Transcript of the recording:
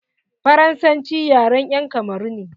Faransanci yaren 'yan kamaru ne.